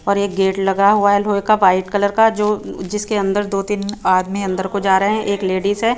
और एक गेट लगा हुआ है लोहे का वाइट कलर का जो जिसके अंदर दो तीन आदमी अंदर को जा रहे है एक लेडीज है।